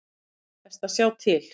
Best að sjá til.